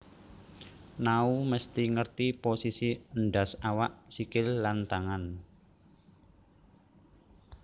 Nao mesti ngerti posisi endas awak sikil lan tangan